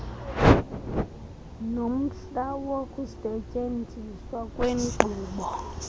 nomhla wokusetyenziswa kwenkqubo